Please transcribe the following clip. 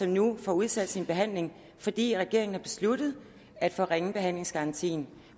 nu får udsat sin behandling fordi regeringen har besluttet at forringe behandlingsgarantien